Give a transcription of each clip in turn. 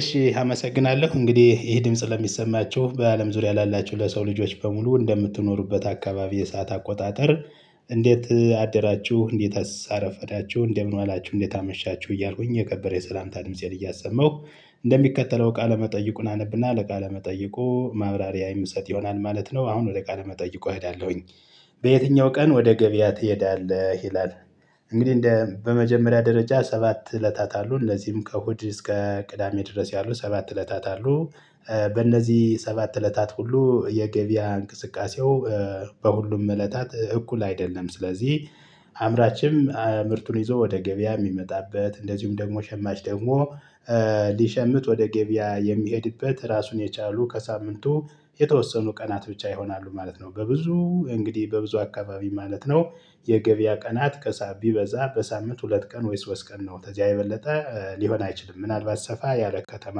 እሺ አመሰግናለሁ እንግዲህ ይሄ ድምጽ ለሚሰማቸው በአለም ዙሪያ ላላችሁ ለሰው ልጆች በሙሉ እንደምትኖሩበት አካባቢ የሰዓት አቆጣጠር? እንዴት አደራችሁ እንዴትስ አረፈዳችሁ እንደምን ዋላችሁ እንዴት አመሻችሁ እያልኩኝ የገበሬ የሰላምታ ድምፄን እያሰማሁ እንደሚከተለው ቃለ መጠይቁን አነብና ለቃለ መጠይቁ ማብራሪያ የምሰጥ ይሆናል። ማለት ነው። አሁን ወደ ቃለ መጠይቆ እሄዳለሁኝ። በየትኛው ቀን ወደ ገበያ ትሄዳለህ ይላል? እንግዲህ በመጀመሪያ ደረጃ ሰባት እለታት አሉ እንደዚህም ከእሁድ እስከ ቅዳሜ ድረስ ያሉ ሰባት እለታት አሉ። በእነዚህ ሰባት እለታት ሁሉ የገበያ እንቅስቃሴው በሁሉም እለታት እኩል አይደለም። ስለዚህ አምራችም ምርቱን ይዞ ወደ ገበያ የሚመጣበት እንደዚሁም ደግሞ ሸማች ደግሞ ሊሸምት ወደ ገበያ የሚሄድበት ራሱን የቻሉ ከሳምንቱ የተወሰኑ ቀናት ብቻ ይሆናሉ ማለት ነው። በብዙ እንግዲህ በብዙ አካባቢ ማለት ነው። የገበያ ቀናት ከሳም ቢበዛ በሳምንት ሁለት ቀን ወይስ ሶስት ቀን ነው። ተዚያ የበለጠ ሊሆን አይችልም። ምናልባት ሰፋ ያለ ከተማ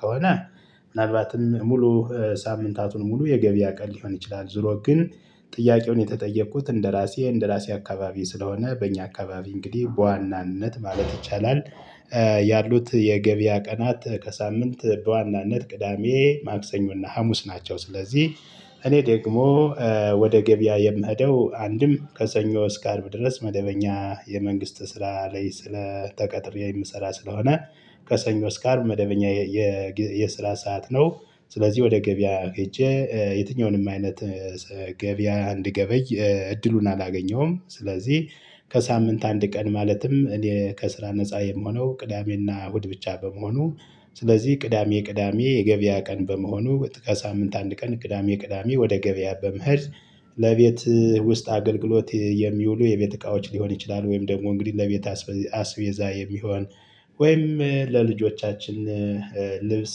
ከሆነ። ምናልባትም ሙሉ ሳምንታቱን ሙሉ የገበያ ቀን ሊሆን ይችላል። ዙሮ ግን ጥያቄውን የተጠየኩት እንደራሴ እንደራሴ አካባቢ ስለሆነ በእኛ አካባቢ እንግዲህ በዋናነት ማለት ይቻላል። ያሉት የገበያ ቀናት ከሳምንት በዋናነት ቅዳሜ ማክሰኞና ሀሙስ ናቸው። ስለዚህ እኔ ደግሞ ወደ ገበያ የምሄደው አንድም ከሰኞ እስከ አርብ ድረስ መደበኛ የመንግስት ስራ ላይ ስለ ተቀጥሬ የምሰራ ስለሆነ። ከሰኞ እስከ አርብ መደበኛ የስራ ሰዓት ነው። ስለዚህ ወደ ገበያ ሄጄ የትኛውንም አይነት ገበያ አንድገበይ እድሉን አላገኘሁም። ስለዚህ ከሳምንት አንድ ቀን ማለትም እኔ ከስራ ነፃ የምሆነው ቅዳሜና እሁድ ብቻ በመሆኑ ስለዚህ ቅዳሜ ቅዳሜ የገበያ ቀን በመሆኑ ከሳምንት አንድ ቀን ቅዳሜ ቅዳሜ ወደ ገበያ በመኸድ ለቤት ውስጥ አገልግሎት የሚውሉ የቤት እቃዎች ሊሆን ይችላሉ። ወይም ደግሞ እንግዲህ ለቤት አስቤዛ የሚሆን ወይም ለልጆቻችን ልብስ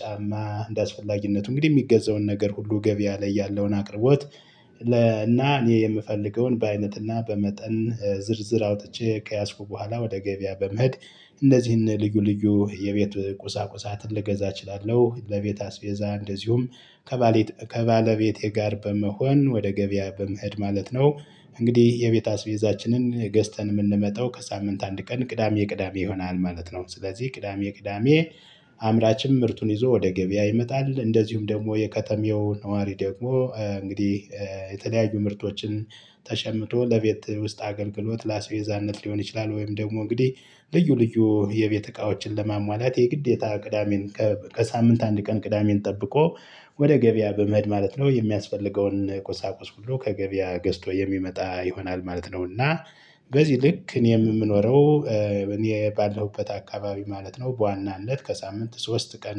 ጫማ እንደአስፈላጊነቱ እንግዲህ የሚገዛውን ነገር ሁሉ ገበያ ላይ ያለውን አቅርቦት። እና እኔ የምፈልገውን በአይነትና በመጠን ዝርዝር አውጥቼ ከያዝኩ በኋላ ወደ ገበያ በመሄድ እንደዚህ ልዩ ልዩ የቤት ቁሳቁሳትን ልገዛ እችላለሁ። ለቤት አስቤዛ እንደዚሁም ከባለቤቴ ጋር በመሆን ወደ ገበያ በመሄድ ማለት ነው። እንግዲህ የቤት አስቤዛችንን ገዝተን የምንመጣው ከሳምንት አንድ ቀን ቅዳሜ ቅዳሜ ይሆናል ማለት ነው። ስለዚህ ቅዳሜ ቅዳሜ አምራችም ምርቱን ይዞ ወደ ገበያ ይመጣል። እንደዚሁም ደግሞ የከተማው ነዋሪ ደግሞ እንግዲህ የተለያዩ ምርቶችን ተሸምቶ ለቤት ውስጥ አገልግሎት ለአስቤዛነት ሊሆን ይችላል። ወይም ደግሞ እንግዲህ ልዩ ልዩ የቤት እቃዎችን ለማሟላት የግዴታ ቅዳሜን ከሳምንት አንድ ቀን ቅዳሜን ጠብቆ ወደ ገበያ በመሄድ ማለት ነው። የሚያስፈልገውን ቁሳቁስ ሁሉ ከገበያ ገዝቶ የሚመጣ ይሆናል ማለት ነው። እና በዚህ ልክ እኔም የምኖረው እኔ ባለሁበት አካባቢ ማለት ነው። በዋናነት ከሳምንት ሶስት ቀን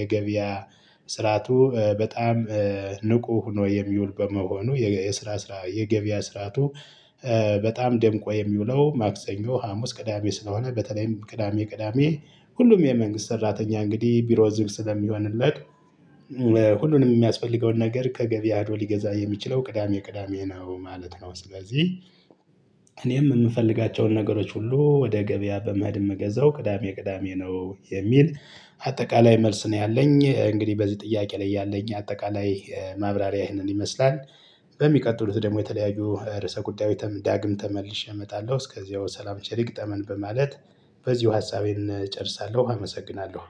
የገበያ ስርዓቱ በጣም ንቁ ሁኖ የሚውል በመሆኑ። የገበያ ስራቱ በጣም ደምቆ የሚውለው ማክሰኞ ሀሙስ ቅዳሜ ስለሆነ በተለይም ቅዳሜ ቅዳሜ ሁሉም የመንግስት ሰራተኛ እንግዲህ ቢሮ ዝግ ስለሚሆንለት ሁሉንም የሚያስፈልገውን ነገር ከገበያው ሊገዛ የሚችለው ቅዳሜ ቅዳሜ ነው ማለት ነው። ስለዚህ እኔም የምፈልጋቸውን ነገሮች ሁሉ ወደ ገበያ በመሄድ ምገዛው ቅዳሜ ቅዳሜ ነው። የሚል አጠቃላይ መልስ ነው ያለኝ እንግዲህ በዚህ ጥያቄ ላይ ያለኝ አጠቃላይ ማብራሪያ ይህንን ይመስላል። በሚቀጥሉት ደግሞ የተለያዩ ርዕሰ ጉዳይ ዳግም ተመልሼ እመጣለሁ እስከዚያው ሰላም ቸር ይግጠመን በማለት በዚሁ ሀሳቤን እጨርሳለሁ። አመሰግናለሁ።